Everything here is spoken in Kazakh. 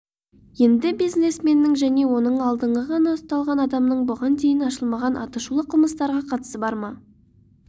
енді бизнесменнің және оның алдында ғана ұсталған адамның бұған дейін ашылмаған атышулы қылмыстарға қатысы бар ма